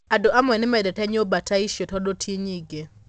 Andũ amwe nĩ mendete nyũmba ta icio tondũ ti nyingĩ.